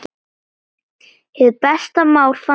Hið besta mál, fannst mér.